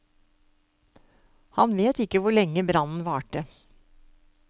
Han vet ikke hvor lenge brannen varte.